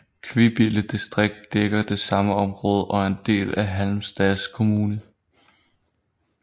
Kvibille distrikt dækker det samme område og er en del af Halmstads kommun